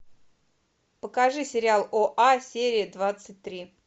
покажи сериал оа серия двадцать три